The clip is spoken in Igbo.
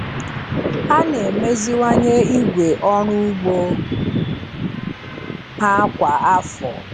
Ha na-emeziwanye igwe ọrụ ugbo ha kwa afọ.